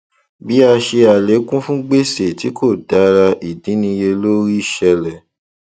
bí a ṣe àlékún fún gbèsè tí kò dára ìdínníyelórí ṣẹlẹ